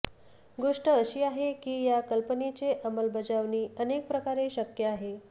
गोष्ट अशी आहे की या कल्पनेचे अंमलबजावणी अनेक प्रकारे शक्य आहे